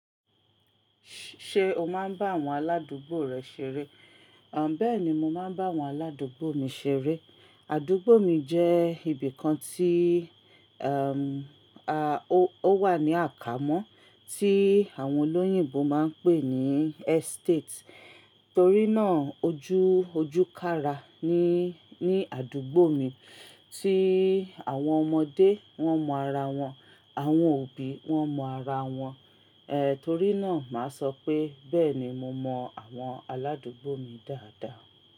Ṣé o máa ń bá àwọn aládùúgbò rẹ ṣeré? Àn bẹ́ẹ̀ni, mo máa ń bá àwọn aládùúgbò mi ṣeré. Àdúgbò mi jẹ́ ibìkan tí, um, a, ó wà ní àkámọ́ tí àwọn olóyìnbo máa ń pè ní estate. Torí náà ojú ojúkára ni, ní àdúgbò mi tí àwọn ọmọdé wọ́n mọ ara wọn, àwọn òbí wọ́n mọ ara wọn. E, torí náà màá sọ pé bẹ́ẹ̀ni mo mọ àwọn aládùúgbò mi dáadáa.